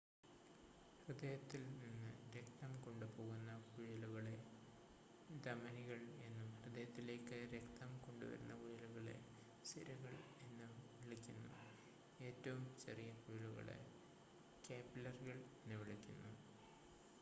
ഹൃദയത്തിൽ നിന്ന് രക്തം കൊണ്ടുപോകുന്ന കുഴലുകളെ ധമനികൾ എന്നും ഹൃദയത്തിലേക്ക് രക്തം കൊണ്ടുവരുന്ന കുഴലുകളെ സിരകൾ എന്നും വിളിക്കുന്നു ഏറ്റവും ചെറിയ കുഴലുകളെ കാപ്പിലറികൾ എന്ന് വിളിക്കുന്നു